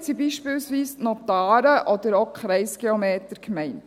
Damit sind beispielsweise die Notare oder auch die Kreisgeometer gemeint.